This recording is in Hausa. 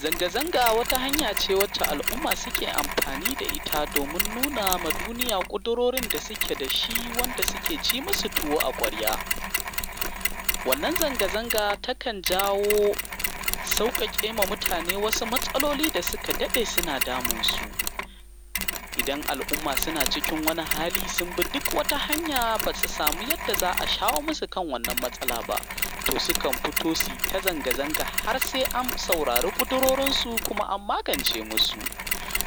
Zanga zanga wata hanyace, wacce alumma suke amfani da ita. Domin nunawa duniya ƙudurorin dasuke dashi, wanda suke cimusu tuwo a kwarya. Wannan zanga zanga takan jawo, sauƙaƙema mutane wasu matsaloli dasuka dade suna damunsu. Idan alumma suna cikin wani hali, sunbi duk wata hanya basu sami yanda za’a shawo masu kan wannan matsala ba. To sukan fito suyi ta zanga zanga har se an saurare kudirorinsu kuma an magance musu.